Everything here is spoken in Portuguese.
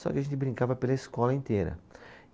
Só que a gente brincava pela escola inteira.